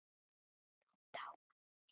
Nú dámar mér!